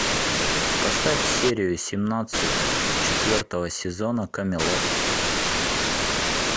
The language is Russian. поставь серию семнадцать четвертого сезона камелот